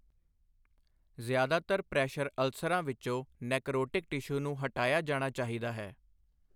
ਜ਼ਿਆਦਾਤਰ ਪ੍ਰੈਸ਼ਰ ਅਲਸਰਾਂ ਵਿੱਚੋਂ ਨੈਕਰੋਟਿਕ ਟਿਸ਼ੂ ਨੂੰ ਹਟਾਇਆ ਜਾਣਾ ਚਾਹੀਦਾ ਹੈ।